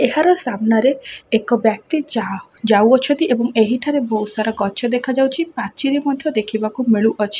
ଏହାର ସାମ୍ନା ରେ ଏକ ବ୍ୟକ୍ତି ଯାହ ଯାଉଅଛନ୍ତି ଏବଂ ଏହିଠାରେ ବହୁତ ସାରା ଗଛ ଦେଖା ଯାଉଛି ପାଚେରୀ ମଧ୍ୟ ଦେଖିବାକୁ ମିଳୁଅଛି --